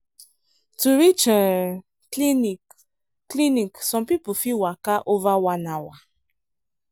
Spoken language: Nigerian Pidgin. to reach um clinic clinic some people fit waka over one hour.